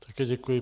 Také děkuji.